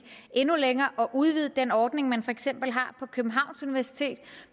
endnu længere og udvidede den ordning man for eksempel har på københavns universitet